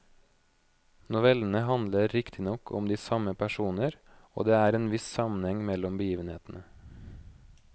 Novellene handler riktignok om de samme personer og det er en viss sammenheng mellom begivenhetene.